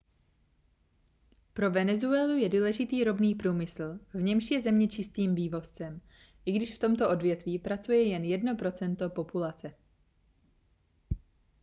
pro venezuelu je důležitý ropný průmysl v němž je země čistým vývozcem i když v tomto odvětví pracuje jen jedno procento populace